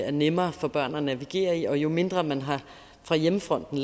er nemmere for børn at navigere i og jo mindre man fra hjemmefronten